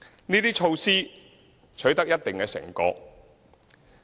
這些措施取得一定成果。